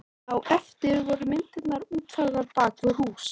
Á eftir voru myndirnar útfærðar bak við hús.